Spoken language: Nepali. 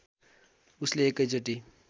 उसले एकै चोटी